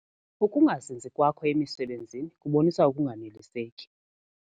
Ukungazinzi kwakho emisebenzini kubonisa ukunganeliseki.